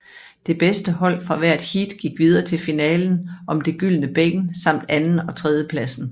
Det bedste hold fra hver heat gik videre til finalen om det gyldne bækken samt anden og tredjepladsen